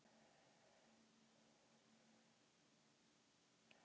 Hér að framan hefur einkum verið fjallað um kol, jarðgas og jarðolíu sem orkugjafa.